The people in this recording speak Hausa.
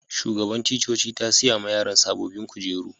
Shugaban ticcoci ta siya ma yaran sabobin kujeru.